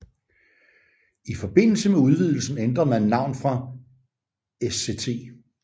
I forbindelse med udvidelsen ændrede man navn fra Sct